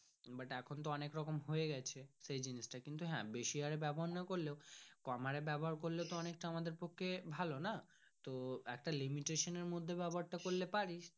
but এখন তো অনেক রকম হয়ে গাছে সেই জিনিস টা কিন্তু হ্যাঁ বেশি হরে ব্যবহার না করলেও কম হরে ব্যাবহার করলে তো অনেক টা আমাদের পক্ষে ভালো না তো একটা limitation এর মর্ধে ব্যবহার তা করলে পারি।